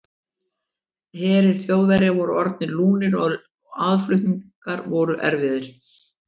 Herir Þjóðverja voru orðnir lúnir og aðflutningar voru erfiðir.